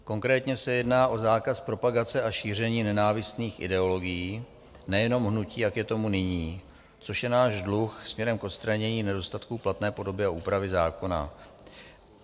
Konkrétně se jedná o zákaz propagace a šíření nenávistných ideologií, nejenom hnutí, jak je tomu nyní, což je náš dluh směrem k odstranění nedostatku platné podoby a úpravy zákona.